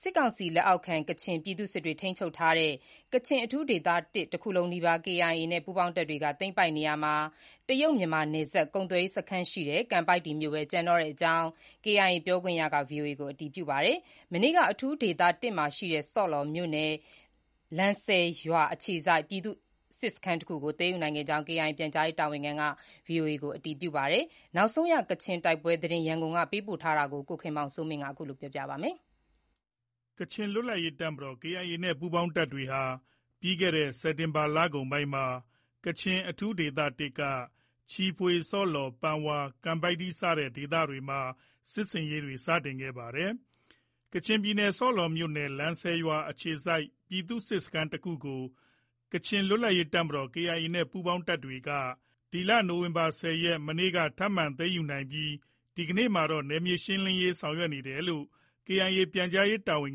စစ်ကောင်စီလက်အောက်ခံ ကချင်ပြည်သူ့စစ်တွေထိန်းချုပ်ထားတဲ့ ကချင်အထူးဒေသ (၁) တခုလုံး နီးပါး KIA နဲ့ ပူးပေါင်းတပ်တွေ သိမ်းပိုက်နေရာမှာ တရုတ်-မြန်မာနယ်စပ် ကုန်သွယ်ရေးစခန်းရှိတဲ့ ကန်ပိုက်တီမြို့ပဲ ကျန်တော့ကြောင်း KIA ပြောခွင့်ရက ဗွီအိုအေကို အတည်ပြုပါတယ်။ မနေ့က အထူးဒေသ (၁) မှာရှိနေတဲ့ ဆော့လော်မြို့နယ် လန်ဆယ်ရွာအခြေစိုက် ပြည်သူ့စစ်စခန်းတခုကို သိမ်းယူနိုင်ခဲ့ကြောင်း KIA ပြန်ကြားရေးတာဝန်ခံက ဗွီအိုအေကို အတည်ပြုပါတယ်။ နောက်ဆုံးရ ကချင်တိုက်ပွဲသတင်း ရန်ကုန်က ပေးပို့ထားပါတယ်။ ကချင်လွတ်လပ်ရေး တပ်မတော် KIA နဲ့ ပူးပေါင်းတပ်တွေဟာ ပြီးခဲ့တဲ့ စက်တင်ဘာလကုန်ပိုင်းမှာ ကချင်အထူးဒေသ (၁) က ချီဖွေ၊ ဆော့လော်၊ ပန်ဝါ၊ ကန်ပိုက်တီစတဲ့ဒေသတွေမှာ စစ်ဆင်ရေးတွေ စတင်ခဲ့တာပါ။ ကချင်ပြည်နယ် ဆော့လော်မြို့နယ် လန်ဆယ်ရွာအခြေစိုက် ပြည်သူ့စစ်စခန်းတခုကို ကချင်လွတ်လပ်ရေး တပ်မတော် KIA နဲ့ ပူးပေါင်းတပ်တွေက တနင်္ဂနွေနေ့ နိုဝင်ဘာလ ၁၀ ရက်နေ့က ထပ်မံသိမ်းယူလိုက်နိုင်ပြီး ဒီကနေ့မှာတော့ နယ်မြေရှင်းလင်းရေး ဆောင်ရွက်နေတယ်လို့ KIA ပြန်ကြားရေးတာဝန်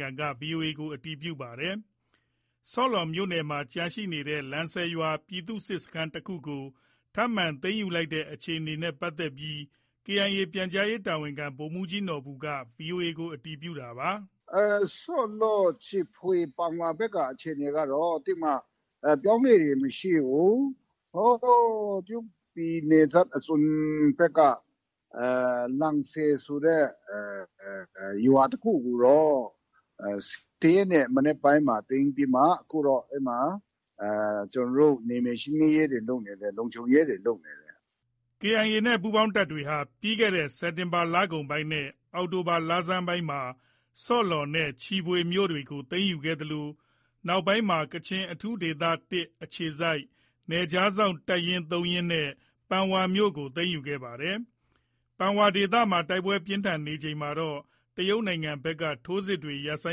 ခံက ဗွီအိုအေကို အတည်ပြုပါတယ်။ ဆော့လော်မြို့နယ်မှာ ကျန်ရှိနေတဲ့ လန်ဆယ်ရွာ ပြည်သူ့စစ်စခန်းတခုကို ထပ်မံ သိမ်းယူလိုက်နိုင်တဲ့ အခြေအနေ KIA ပြန်ကြားရေးတာဝန်ခံ ဗိုလ်မှူးကြီးနော်ဘူက VOA ကို အတည်ပြုတာပါ။ “ဆော့လော်၊ ချီဖွေ၊ ပန်ဝါဘက်က အခြေအနေကတော့ သိပ်ပြီးမှ အပြောင်းအလဲတွေ မရှိဘူး။ ဟိုးတရုတ်ပြည်နယ်စပ်အစွန်ဘက်က လန်ဆယ်ဆိုတဲ့ရွာတခုကိုတော့ ၁၀ ရက်နေ့မနက်ပိုင်းမှာ သိမ်းပြီးမှ အခုတော့ အဲဒီမှာ ကျနော်တို့နယ်မြေရှင်းလင်းရေးတွေ လုပ်နေတယ်။ လုံခြုံရေးတွေ လုပ်နေတယ်။” KIA ပူးပေါင်းတပ်တွေဟာ စက်တင်ဘာလကုန်ပိုင်းနဲ့ အောက်တိုဘာလဆန်းပိုင်းမှာ ဆော့လော်နဲ့ ချီဖွေမြို့တွေကို သိမ်းယူခဲ့သလို နောက်ပိုင်းမှာ ကချင်အထူးဒေသ (၁) အခြေစိုက် နယ်ခြားစောင့် တပ်ရင်း (၃) ရင်းလုံးနဲ့ ပန်ဝါမြို့ကိုပါ သိမ်းယူခဲ့ပါတယ်။ ပန်ဝါဒေသမှာ တိုက်ပွဲပြင်းထန်နေချိန်မှာတော့ တရုတ်နိုင်ငံဘက်က ထိုးစစ်တွေရပ်ဆို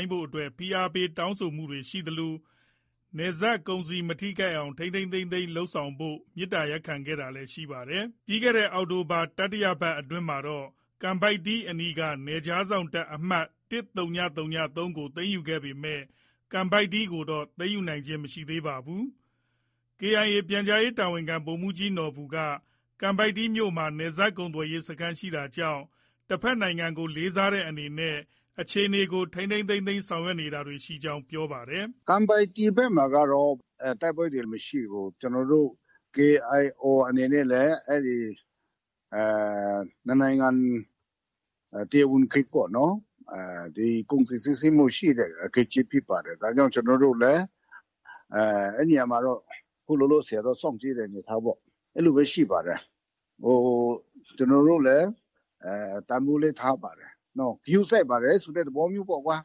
င်းဖို့အတွက် ဖိအားပေးတောင်းဆိုတာတွေရှိသလို နယ်စပ်ကုန်စည်မထိခိုက်အောင် ထိန်းထိန်းသိမ်းသိမ်းလုပ်ဖို့ မေတ္တာရပ်ခံခဲ့တာလည်းရှိခဲ့ပါတယ်။ အောက်တိုဘာလ တတိယပတ်အတွင်းမှာတော့ ကန်ပိုက်တီအနီးက နယ်ခြားစောင့်တပ် အမှတ် ၁၀၀၃ ကို သိမ်းယူခဲ့ပေမဲ့ ကန်ပိုက်တီကိုတော့ သိမ်းယူနိုင်ခြင်း မရှိသေးပါဘူး။ KIA ပြန်ကြားရေးတာဝန်ခံ ဗိုလ်မှူးကြီးနော်ဘူက ကန်ပိုက်တီမြို့မှာ နယ်စပ်ကုန်သွယ်ရေး စခန်းရှိတာကြောင့် တဘက်နိုင်ငံကို လေးစားတဲ့အနေနဲ့အခြေအနေကို ထိန်းသိမ်းဆောင်ရွက်နေတာရှိကြောင်း ပြောပါတယ်။ “ကန်ပိုက်တီဘက်မှာကတော့ တိုက်ပွဲတွေမရှိဘူး။ ကျနော်တို့ KIO အနေနဲ့လည်း အဲဒီနှစ်နိုင်ငံ တရားဝင် ဂိတ်ပေါ့နော်။ ကုန်စည်စီးဆင်းမှုရှိတဲ့ ဂိတ်ကြီးဖြစ်ပါတယ်။ ဒါကြောင့် ကျနော်တို့လည်း အဲဒီ နေရာမှာ တော့ အခုလောလောဆယ်တော့ စောင့်ကြည့်တဲ့အနေအထားပေါ့။ အဲလိုပဲ ရှိပါတယ်။ ကျနော်တို့ လည်း တန်ဖိုးလည်းထားပါတယ်။ ဂရုစိုက်ပါတယ်ဆိုတဲ့ သဘောမျိုးပေါ့ကွာ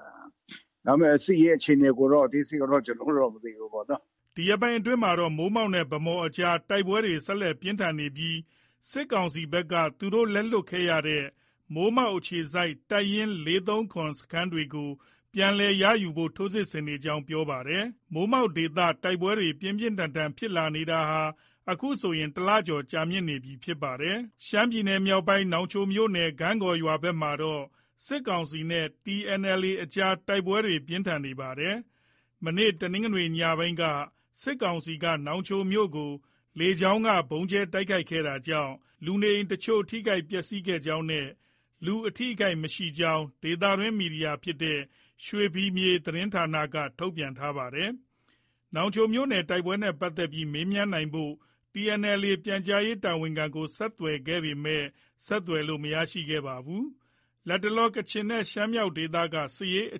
။ ဒါပေမဲ့ စစ်ရေး အခြေအနေ အသေးစိတ်ကတော့ ကျနော်တို့တော့ မသိဘူးပေါ့နော။” ဒီရက်ပိုင်းတွေအတွင်းမှာတော့ မိုးမောက်နဲ့ ဗန်းမော်ကြားမှာ တိုက်ပွဲတွေ ဆက်လက် ပြင်းထန်နေပြီး စစ်ကောင်စီဘက်က သူတို့ လက်လွှတ်ခဲ့ရတဲ့ မိုးမောက်အခြေစိုက် တပ်ရင်း ၄၃၇ စခန်းတွေကို ပြန်လည်ရယူဖို့ ထိုးစစ်ဆင်နေကြောင်း ပြောပါတယ်။ မိုးမောက်ဒေသ တိုက်ပွဲတွေ ပြန်လည် ပြင်းထန်လာနေတာဟာ အခုဆို တလကျော်ကြာမြင့်လာနေပြီဖြစ်ပါတယ်။ ရှမ်းပြည်နယ်မြောက်ပိုင်း နောင်ချိုမြို့နယ် ဂန့်ကော်ရွာဘက်မှာတော့ စစ်ကောင်စီနဲ့ TNLA ကြား တိုက်ပွဲပြင်းထန်နေပါတယ်။ တနင်္ဂနွေနေ့ ညနေပိုင်းက စစ်ကောင်စီက နောင်ချိုမြို့ကို လေကြောင်းက ဗုံးကြဲတိုက်ခိုက်ခဲ့တာကြောင့် လူနေအိမ်အချို့ ထိခိုက်ပျက်ဆီးခဲ့ကြောင်းနဲ့ လူအထိအခိုက်မရှိကြောင်း ဒေသတွင်းမီဒီယာဖြစ်တဲ့ ရွှေဖီမြေ သတင်းဌာနက ထုတ်ပြန်ထားပါတယ်။ နောင်ချိုမြို့နယ် တိုက်ပွဲသတင်းနဲ့ပတ်သက်ပြီး မေးမြန်းနိုင်ဖို့ TNLA ပြန်ကြားရေးတာဝန်ခံကို ဆက်သွယ်ခဲ့ပေမဲ့ ဆက်သွယ်လို့ မရခဲ့ပါဘူး။ လတ်တလော ကချင်နဲ့ ရှမ်းမြောက်ဒေသက စစ်ရေးအ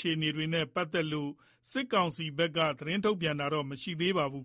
ခြေအနေနဲ့ပတ်သက်လို့ စစ်ကောင်စီဘက်က သတင်းထုတ်ပြန်ထားတာ မရှိပါဘူး။